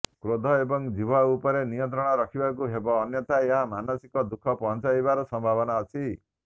କ୍ରୋଧ ଏବଂ ଜିହ୍ବା ଉପରେ ନିୟନ୍ତ୍ରଣ ରଖିବାକୁ ହେବ ଅନ୍ୟଥା ଏହା ମାନସିକ ଦୁଖ ପହଁଞ୍ଚାଇବାର ସମ୍ଭାବନା ଅଛି